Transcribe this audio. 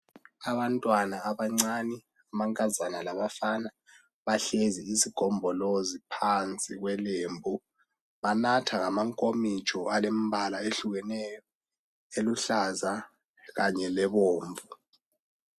Abantwana abancane, amankazana labafana bahlezi isigombolozi phansi kwelembu. Banatha ngamankomitsho alemibala ehlukeneyo eluhlaza kanye lebomvu